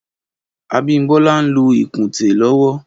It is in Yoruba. Abimbola n ló ikùnté lọwọ